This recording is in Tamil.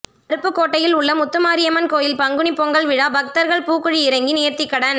அருப்புக்கோட்டையில் உள்ள முத்துமாரியம்மன் கோயில் பங்குனி பொங்கல் விழா பக்தர்கள் பூக்குழி இறங்கி நேர்த்திக்கடன்